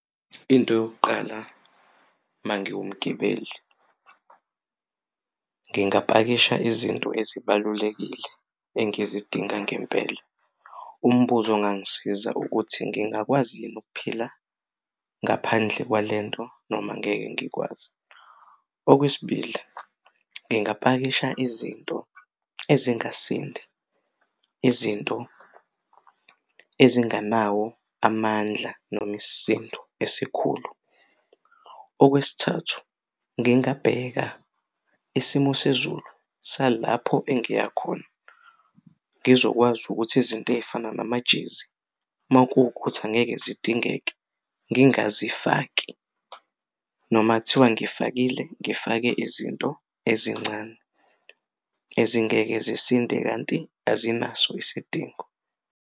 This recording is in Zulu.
Into yokuqala mangiwumgibeli ngingapakisha izinto ezibalulekile engizidinga ngempela umbuzo ongangisiza ukuthi ngingakwazi yini ukuphila ngaphandle kwalento noma angeke ngikwazi. Okwesibili, ngingapakisha izinto esingasindi, izinto ezinganawo amandla noma isindo esikhulu. Okwesithathu, ngingabheka isimo sezulu salapho engiya khona ngizokwazi ukuthi izinto ey'fana namajezi makuwukuthi angeke zidingeke ngingazifaki noma kuthiwa ngifakile ngifake izinto ezincane ezingeke sisinde kanti azinaso isidingo.